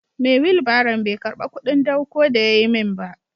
Mai wilbaron bai karba kudin dawko da yayi min ba.